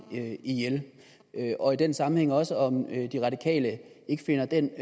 ihjel og i den sammenhæng også om de radikale ikke finder den